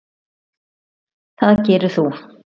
Það gerðir þú.